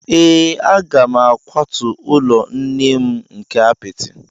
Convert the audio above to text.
Ee, a ga m akwatu ụlọ nne nne m nke apịtị.